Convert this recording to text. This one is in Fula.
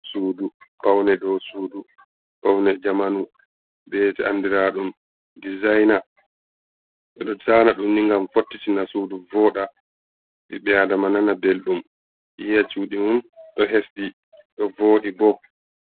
Suɗu, paune ɗow suɗu. Paune jamanu bete anɗiraɗum ɗizaina. Ɓeɗo zana ɗum ni ngam fottitina suɗu vooɗa. Ɓiɓɓe aɗama nana ɓelɗum, yiya cuɗi mum ɗo hesɗi ɗo vooɗi ɓo.